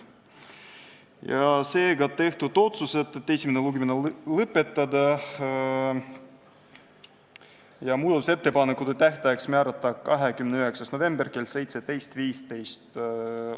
Seega tehti otsused, et esimene lugemine tuleks lõpetada ja muudatusettepanekute tähtajaks määrata 29. november kell 17.15.